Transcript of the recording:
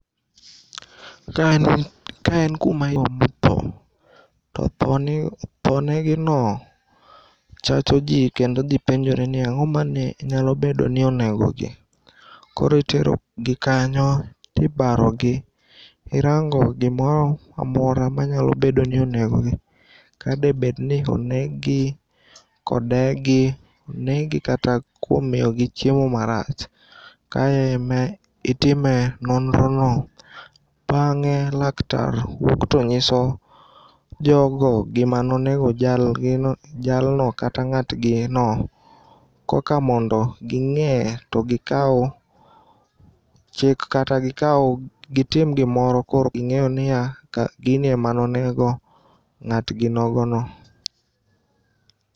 Ka en kuma iome tho. To tho negino chacho jii kendo jii penjore ni ang'oma ne nyalo bedoni onegogi. Koro iterogi kanyo tibarogi. Irango gimoro amora manyalobedo ni onegogi. Ka debedni oneggi kode gi, oneggi kata kuom miyogi chiemo marach. Kae ema itime nonrono. Bang'e laktar wuok tonyiso jogo gimanonego jalgino, jalno kata ng'atgino koka mondo ging'e to gikau chik kata gikau gitim gimoro koro ging'eyoniya gini ema nonego ng'atginogono.